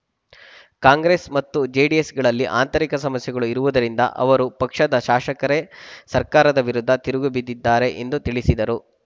ಕಾಂಗ್ರೆಸ್‌ ಮತ್ತು ಜೆಡಿಎಸ್‌ಗಳಲ್ಲಿ ಆಂತರಿಕ ಸಮಸ್ಯೆಗಳು ಇರುವುದರಿಂದ ಅವರ ಪಕ್ಷದ ಶಾಸಕರೇ ಸರ್ಕಾರದ ವಿರುದ್ಧ ತಿರುಗಿ ಬಿದ್ದಿದ್ದಾರೆ ಎಂದು ತಿಳಿಸಿದರು